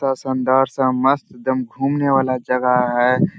ता शानदार सा मस्त एकदम घूमने वाला जगह है।